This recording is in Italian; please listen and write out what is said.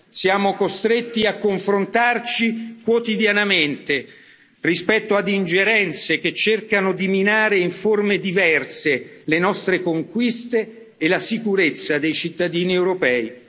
Siamo costretti a confrontarci quotidianamente rispetto ad ingerenze che cercano di minare in forme diverse le nostre conquiste e la sicurezza dei cittadini europei.